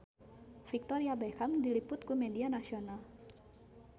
Victoria Beckham diliput ku media nasional